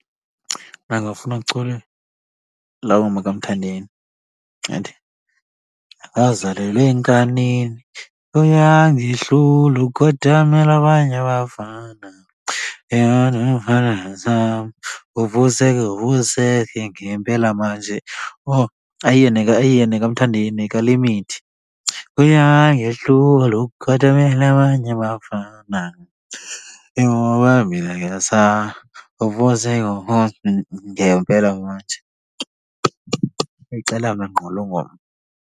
Mna ndingafuna kuculwe laa ngoma kaMthandeni ethi, wazalelwa enkanini uyangihlula ukhothamela abanye abafana, ngempela manje. Owu ayiyo , ayiyo nekaMthandeni yekaLimit. Uyangihlula ukhothamela abanye abafana ingoba mina ngiyasaba , ngempela manje. Ixela mna ngqo loo ngoma.